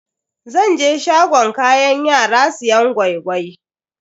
Zan je shagon kayan yara siyan gwai-gwai.